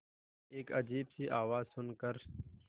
एक अजीब सी आवाज़ सुन कर